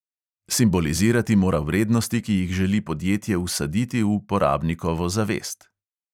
Simbolizirati mora vrednosti, ki jih želi podjetje vsaditi v porabnikovo zavest.